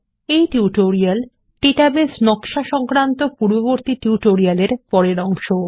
এই tutorial database নকশা সংক্রান্ত পূর্ববর্তী টিউটোরিয়াল এর পরের অংশ